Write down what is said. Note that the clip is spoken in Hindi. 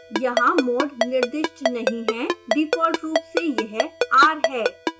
यहाँ mode निर्दिष्ट नहीं है डिफॉल्ट रूप से यह r है